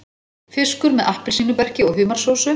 Fiskur með appelsínuberki og humarsósu